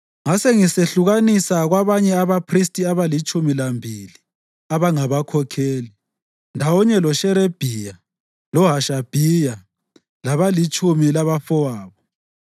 Ngasengisehlukanisa kwabanye abaphristi abalitshumi lambili abangabakhokheli, ndawonye loSherebhiya, loHashabhiya labalitshumi labafowabo,